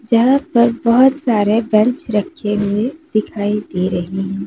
यहां पर बहुत सारे बेंच रखेंगे दिखाई दे रही है।